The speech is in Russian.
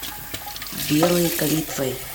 белой калитвой